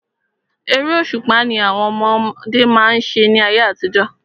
Eré òṣùpá ni àwọn ọmọdé má ń ṣe ní ayé àtijọ́.